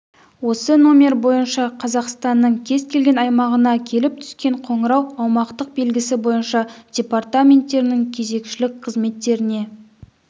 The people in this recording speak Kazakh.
осы номер бойынша қазақстанның кез келген аймағынан келіп түскен қоңырау аумақтық белгісі бойынша департаменттерінің кезекшілік қызметтеріне